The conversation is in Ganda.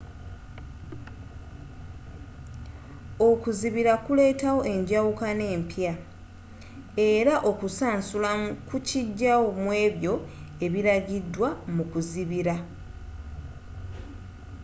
okuzibira kuleetawo enjawukana empya era okusaunsulamu kukijayo muebyo ebiragidwa mu kuzibira